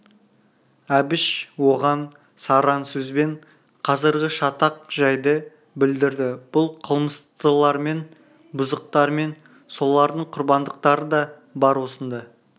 әбіш оған сараң сөзбен қазіргі шатақ жайды білдірді бұл қылмыстылармен бұзықтармен солардың құрбандықтары да бар осында